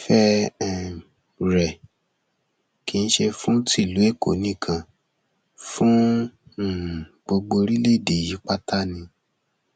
ìfẹ um rẹ kì í ṣe fún tìlú èkó nìkan fún um gbogbo orílẹèdè yìí pátá ni